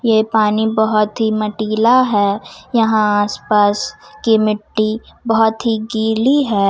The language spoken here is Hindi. ये पानी बहुत ही माटिला है यहां आस पास की मिट्टी बहुत ही गिली है।